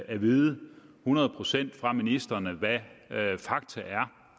at vide hundrede procent fra ministrene hvad fakta er